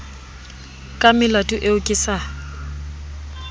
ka melato eo ke sa